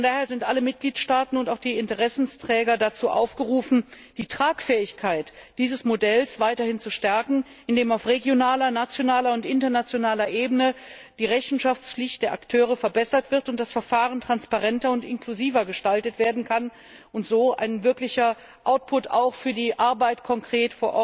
Von daher sind alle Mitgliedstaaten und auch die Interessensträger dazu aufgerufen, die Tragfähigkeit dieses Modells weiter zu stärken, indem auf regionaler, nationaler und internationaler Ebene die Rechenschaftspflicht der Akteure verbessert wird, damit das Verfahren transparenter und inklusiver gestaltet werden kann und so ein wirklicher Output auch für die Arbeit vor Ort konkret